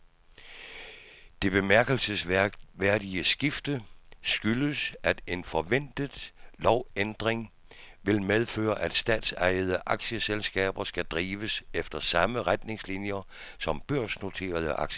Det bemærkelsesværdige skifte skyldes, at en forventet lovændring vil medføre, at statsejede aktieselskaber skal drives efter samme retningslinier som børsnoterede aktieselskaber.